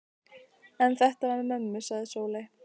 En þetta með mömmu, sagði Sóley.